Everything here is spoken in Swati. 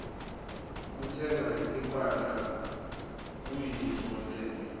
kutsenga timphahla kuyintfo lenhle